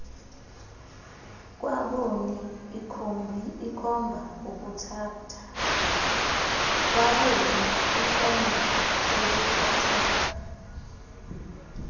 kwaboni ikhomba ubuthathaka